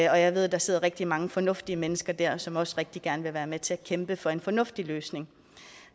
og jeg ved at der sidder rigtig mange fornuftige mennesker der som også rigtig gerne vil være med til at kæmpe for en fornuftig løsning